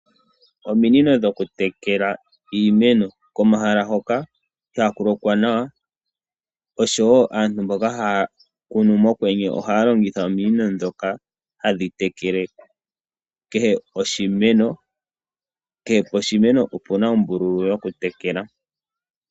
Ominino dhoku tekela iimeno omahala hoka inaku lokwa nawa oshowo aantu mboka haa kunu mokwenye ohaalongitha ominino dhoka hadhi tekele kehe oshimeno kehe poshimeno opena ombululu yoku tekela.